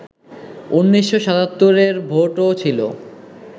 ১৯৭৭-র ভোটও ছিল